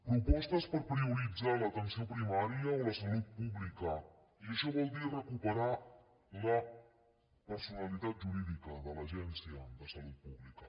propostes per prioritzar l’atenció primària o la salut pública i això vol dir recuperar la personalitat jurídica de l’agència de salut pública